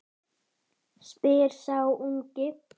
spyr sá ungi.